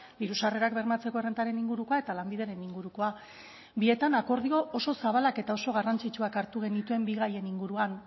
diru sarrerak bermatzeko errentaren ingurukoa eta lanbideren ingurukoa bietan akordio oso zabalak eta oso garrantzitsuak hartu genituen bi gaien inguruan